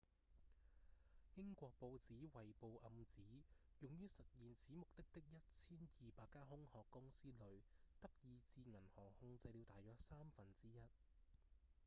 英國報紙《衛報》暗指用於實現此目的的 1,200 間空殼公司裡德意志銀行控制了大約三分之一